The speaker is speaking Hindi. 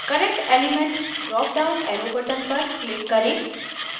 current element dropdown arrow button पर click करें